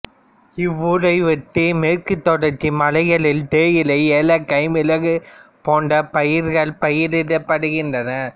இவ்வூரை ஒட்டிய மேற்குத் தொடர்ச்சி மலைகளில் தேயிலை ஏலக்காய் மிளகு போன்ற பயிர்கள் பயிரிடப்படுகிறன